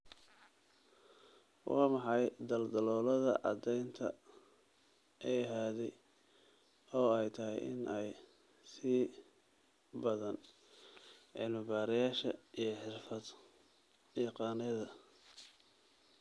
Waa maxay daldaloolada caddaynta ee hadhay oo ay tahay in ay sii baadhaan cilmi-baarayaasha iyo xirfad-yaqaannada?